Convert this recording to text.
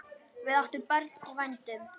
Við áttum barn í vændum.